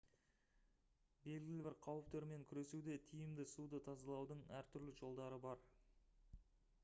белгілі бір қауіптермен күресуде тиімді суды тазалаудың әртүрлі жолдары бар